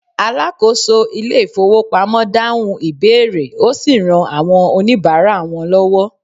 alákóso ilé ifowópamọ́ dahun ìbéèrè osi ran àwọn onibara wan lowo